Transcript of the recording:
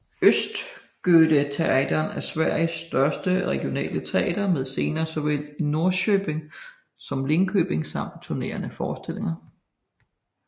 Östgötateatern er Sveriges største regionale teater med scener såvel i Norrköping som Linköping samt turnerende forestillinger